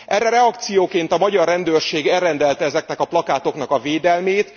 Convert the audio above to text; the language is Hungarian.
Erre reakcióként a magyar rendőrség elrendelte ezeknek a plakátoknak a védelmét.